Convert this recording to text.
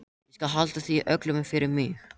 Ég skal halda því öllu fyrir mig.